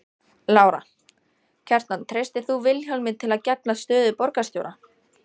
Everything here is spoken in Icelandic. Lára: Kjartan treystir þú Vilhjálmi til að gegna stöðu borgarstjóra?